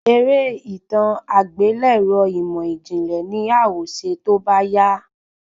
Eré itan agbelẹrọ imọijinlẹ ni a ọ ṣe tóbá yá